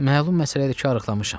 Məlum məsələdir ki, arıqlamışam.